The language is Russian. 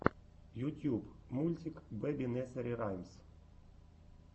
ютьюб мультик бэби несери раймс